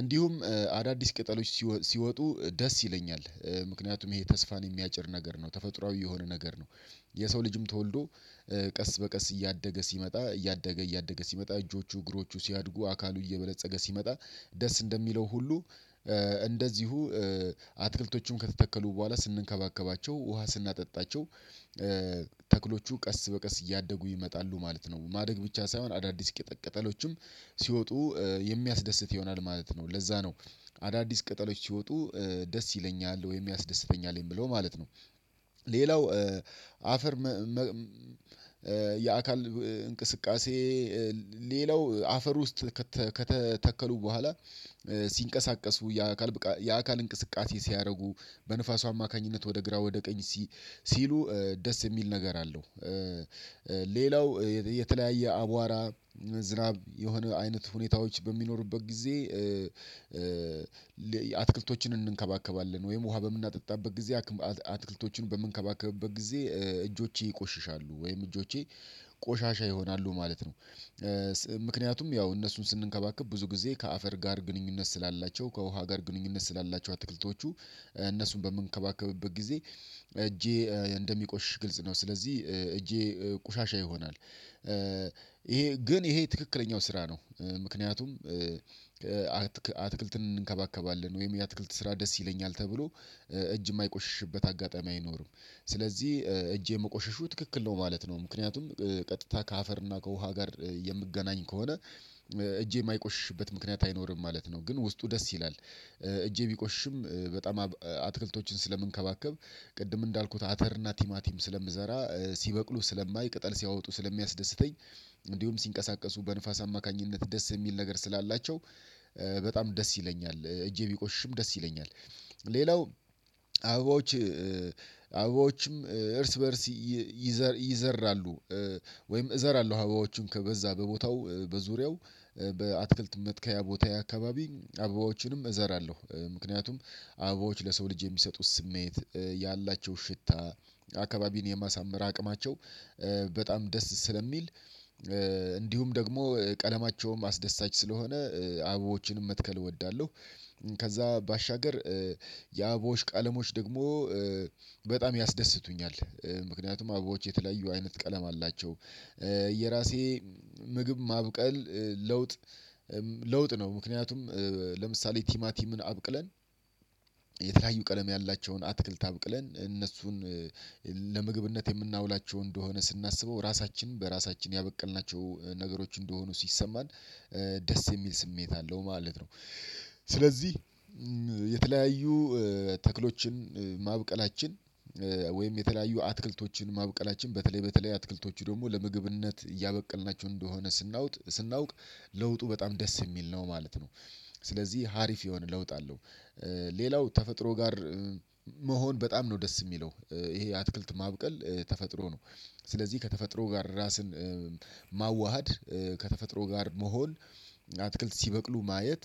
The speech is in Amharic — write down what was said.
እንዲሁም አዳዲስ ቅጠሎች ሲወጡ ደስ ይለኛል ምክንያቱም ይሄ ተስፋን የሚያጭር ነገር ነው ተፈጥሮአዊ የሆነ ነገር ነው። የሰው ልጅም ተወልዶ ቀስ በቀስ እያደገ ሲመጣ እያደገ እያደገ ሲመጣ እጆቹ እግሮቹ ሲያድጉ አካሉ እየበለፀገ ሲመጣ ደስ እንደሚለው ሁሉ እንደዚሁ አትክልቶችም ከተተከሉ በኋላ ስንከባከባቸው ውሃ ስናጠጣቸው። ተክሎቹ ቀስ በቀስ እያደጉ ይመጣሉ ማለት ነው ማደግ ብቻ ሳይሆን አዳዲስ ቅጠሎችም ሲወጡ የሚያስደስት ይሆናል ማለት ነው። ለዛ ነው አዳዲስ ቅጠሎች ሲወጡ ደስ ይለኛል ወይም ያስደስተኛል የምለው ማለት ነው። ሌላው አፈር የአካል እንቅስቃሴ። ሌላው አፈር ውስጥ ከተተከሉ በኋላ ሲንቀሳቀሱ የአካል የአካል እንቅስቃሴ ሲያደርጉ በንፋሱ አማካኝነት ወደ ግራ ወደ ቀኝ ሲሉ ደስ የሚል ነገር አለው። ሌላው የተለያየ አቧራ ዝናብ የሆነ አይነት ሁኔታዎች በሚኖሩበት ጊዜ አትክልቶችን እንንከባከባለን ወይም ውሃ በምናጠጣበት ጊዜ አትክልቶችን በምንከባከብበት ጊዜ እጆቼ ይቆሽሻሉ ወይም እጆቼ ቆሻሻ ይሆናሉ ማለት ነው። ምክንያቱም ያው እነሱን ስንከባከብ ብዙ ጊዜ ከአፈር ጋር ግንኙነት ስላላቸው ከውሃ ጋር ግንኙነት ስላላቸው አትክልቶቹ እነሱን በምንከባከብበት ጊዜ እጄ እንደሚቆሽሽ ግልጽ ነው ስለዚህ እጄ ቆሻሻ ይሆናል። ይሄ ግን ይሄ ትክክለኛው ስራ ነው። ምክንያቱም አትክልትን እንከባከባለን ወይም የአትክልት ስራ ደስ ይለኛል ተብሎ እጅ የማይቆሽሽበት አጋጣሚ አይኖርም። ስለዚህ እጄ መቆሸሹ ትክክል ነው ማለት ነው። ምክንያቱም ቀጥታ ከአፈር እና ከውሃ ጋር የምገናኝ ከሆነ እጄ የማይቆሽሽበት ምክንያት አይኖርም ማለት ነው። ግን ውስጡ ደስ ይላል። እጄ ቢቆሽሽም በጣም አትክልቶችን ስለምንከባከብ ቅድም እንዳልኩት አተር እና ቲማቲም ስለምዘራ ሲበቅሉ ስለማይ ቅጠል ሲያወጡ ስለሚያስደስተኝ። እንዲሁም ሲንቀሳቀሱ በንፋስ አማካኝነት ደስ የሚል ነገር ስላላቸው በጣም ደስ ይለኛል እጄ ቢቆሽሽም ደስ ይለኛል። ሌላው አበባዎች እርስ በእርስ ይዘራሉ ወይም እዘራለሁ አበባዎችን ከበዛ በቦታው በዙሪያው በአትክልት መትከያ ቦታዬ አካባቢ አበባዎችንም እዘራለሁ ምክንያቱም አበቦች ለሰው ልጅ የሚሰጡት ስሜት ያላቸው ሽታ አካባቢን የማሳመር አቅማቸው በጣም ደስ ስለሚል እንዲሁም ደግሞ ቀለማቸውም አስደሳች ስለሆነ አበባዎችንም መትከል እወዳለሁ። ከዛ ባሻገር የአበቦዎች ቀለሞች ደግሞ በጣም ያስደስቱኛል ምክንያቱም አበቦች የተለያዩ አይነት ቀለም አላቸው። የራሴ ምግብ ማብቀል ለውጥ ነው ምክንያቱም ለምሳሌ ቲማቲምን አብቅለን የተለያዩ ቀለም ያላቸውን አትክልት አብቅለን እነሱን ለምግብነት የምናውላቸው እንደሆነ ስናስበው ራሳችንን በራሳችን ያበቀልናቸው ነገሮች እንደሆኑ ሲሰማን ደስ የሚል ስሜት አለው ማለት ነው። ስለዚህ የተለያዩ ተክሎችን ማብቀላችን ወይም የተለያዩ አትክልቶችን ማብቀላችን በተለይ በተለይ አትክልቶቹ ደግሞ ለምግብነት እያበቀልናቸው እንደሆነ ስናውቅ ለውጡ በጣም ደስ የሚል ነው ማለት ነው። ስለዚህ ሀሪፍ የሆነ ለውጥ አለው። ሌላው ተፈጥሮ ጋር መሆን በጣም ነው ደስ የሚለው ይሄ አትክልት ማብቀል ተፈጥሮ ነው። ስለዚህ ከተፈጥሮ ጋር ራስን ማዋሃድ ከተፈጥሮ ጋር መሆን አትክልት ሲበቅሉ ማየት